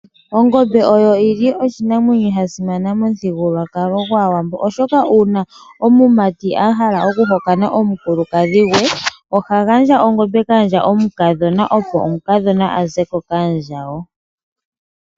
Ongombe oyo oshinamwenyo shasimana momuthigululwakalo gwaawambo, oshoka uuna omumati ahala okuhokana omukulukadhi gwe, ohagandja ongombe kaandja mukadhona opo omukadhona azeko kaandjawo.